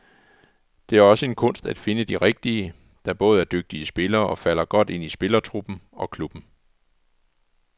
Det er også en kunst at finde de rigtige, der både er dygtige spillere og falder godt ind i spillertruppen og klubben.